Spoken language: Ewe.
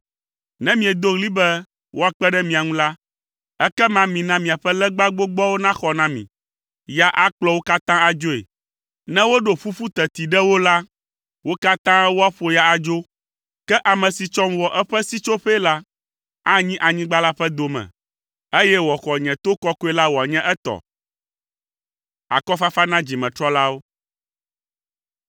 Ne miedo ɣli be woakpe ɖe mia ŋu la, ekema mina miaƒe legba gbogboawo naxɔ na mi! Ya akplɔ wo katã adzoe, ne woɖo ƒuƒu teti ɖe wo la, wo katã woaƒo ya adzo; ke ame si tsɔm wɔ eƒe sitsoƒee la, anyi anyigba la ƒe dome, eye wòaxɔ nye to kɔkɔe la wòanye etɔ.”